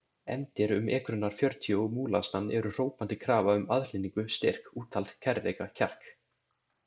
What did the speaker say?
Efndir um ekrurnar fjörutíu og múlasnann eru hrópandi krafa um aðhlynningu, styrk, úthald, kærleika, kjark.